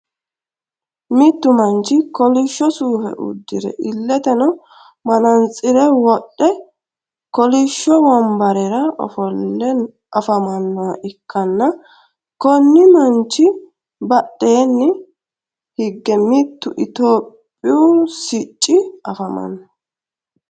mittu manchi kolisho suufe udire iletenno marantsire wodhe kolisho wonbarera ofolle afamanoha ikanna konni manichi badheenni higge mittu ethihopiyu sicci afamanno.